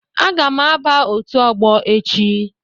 A ga m aba otu ọgbọ echi